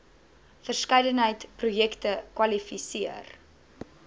verskeidenheid projekte kwalifiseer